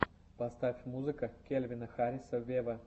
поставь музыка кельвина харриса вево